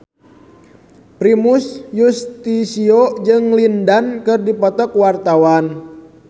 Primus Yustisio jeung Lin Dan keur dipoto ku wartawan